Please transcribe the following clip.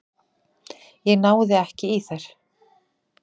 Ég náði ekki í þær.